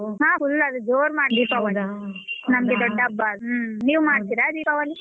ಹ್ಮ್ full ಅದು ಜೋರ್ ಮಾಡ್ತೀವಿ ದೀಪಾವಳಿ ನಮ್ಗೆ ದೊಡ್ಡ ಹಬ್ಬ ಅದು ನೀವ್ ಮಾಡ್ತೀರಾ ದೀಪಾವಳಿ.